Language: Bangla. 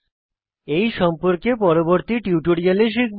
এই সম্পর্কে পরবর্তী টিউটোরিয়ালে শিখব